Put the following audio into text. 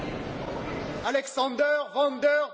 Signori deputati, cari colleghi,